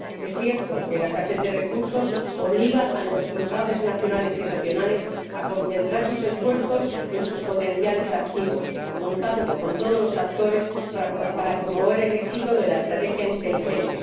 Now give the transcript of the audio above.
Es cierto que la escasez de recursos obliga a los responsables nacionales y regionales a concentrar sus esfuerzos en sus potenciales activos, contando con todos los actores para promover el éxito de la estrategia inteligente.